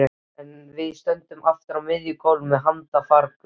Við stöndum aftur á miðju gólfi með handfarangur.